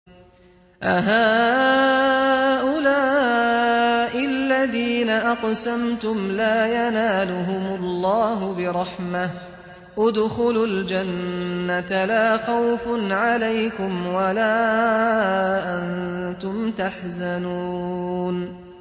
أَهَٰؤُلَاءِ الَّذِينَ أَقْسَمْتُمْ لَا يَنَالُهُمُ اللَّهُ بِرَحْمَةٍ ۚ ادْخُلُوا الْجَنَّةَ لَا خَوْفٌ عَلَيْكُمْ وَلَا أَنتُمْ تَحْزَنُونَ